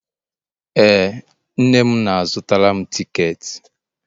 ee, nne m na-azutara m tiketi